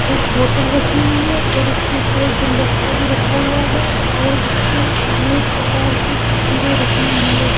एक बोतल रखी हुई है और उसके ऊपर एक गुलदस्ता भी रखा हुआ है और इसके अनेक प्रकार की तस्वीरें रखी हुई है।